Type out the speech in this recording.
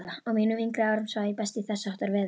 Á mínum yngri árum svaf ég best í þessháttar veðri.